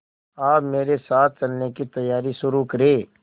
आप मेरे साथ चलने की तैयारी शुरू करें